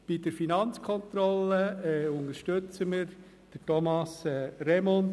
Bei der Finanzkontrolle unterstützen wir Thomas Remund.